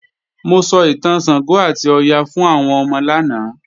Mo sọ ìtàn Ṣàngó àti Ọya fún àwọn ọmọ lánàá